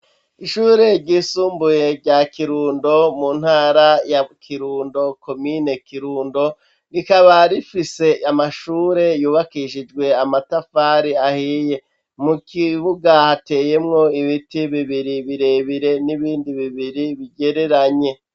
Ishure ryisumbuye rya Kirundo, mu ntara ya Kirundo, komine Kirundo, rikaba rifise amashure yubakishijwe amatafari ahiye. Mu kibuga hateyemwo ibiti bibiri birebire n'ibindi bibiri bigereranye.